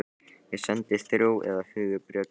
Ég sendi þrjú eða fjögur bréf til